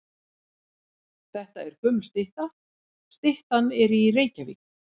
Þetta er gömul stytta. Styttan er í Reykjavík.